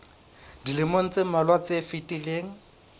dilemong tse mmalwa tse fetileng